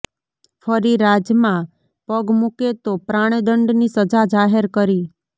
ફરી રાજમાં પગ મૂકે તો પ્રાણદંડની સજા જાહેર કરી